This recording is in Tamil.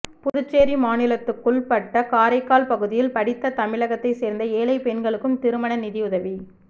புதுச்சேரி மாநிலத்துக்குள்பட்ட காரைக்கால் பகுதியில் படித்த தமிழகத்தைச் சேர்ந்த ஏழை பெண்களுக்கும் திருமண நிதியுதவி